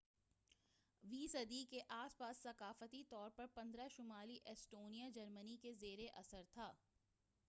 15 ویں صدی کے اس پاس ثقافتی طور پر شمالی ایسٹونیا جرمنی کے زیر اثر تھا